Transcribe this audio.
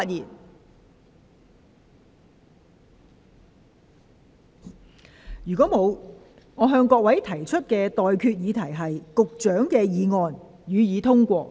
我現在向各位提出的待決議題是：發展局局長動議的議案，予以通過。